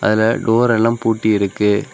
அதுல டோர் எல்லாம் பூட்டி இருக்கி.